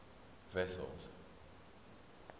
wessels